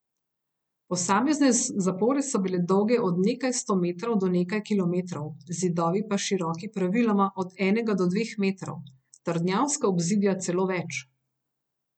Posamezne zapore so bile dolge od nekaj sto metrov do nekaj kilometrov, zidovi pa široki praviloma od enega do dveh metrov, trdnjavska obzidja celo več.